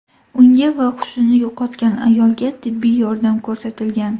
Unga va hushini yo‘qotgan ayolga tibbiy yordam ko‘rsatilgan.